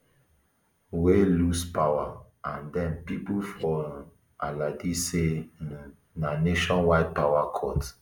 wey lose power and den pipo for um aldi say um na nationwide power cut